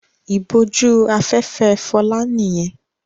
Ìbójú-afẹ́fẹ́ Fọlá nìyẹn.